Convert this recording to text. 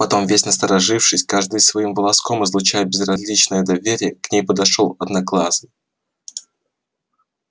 потом весь насторожившись каждым своим волоском излучая безграничное доверие к ней подошёл одноглазый